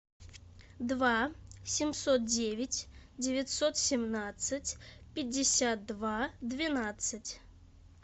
два семьсот девять девятьсот семнадцать пятьдесят два двенадцать